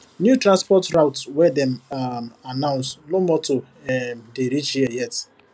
new transport route wey dem um announce no motor um dey reach here yet